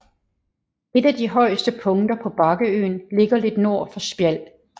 Et af de højeste punkter på bakkeøen ligger lidt nord for Spjald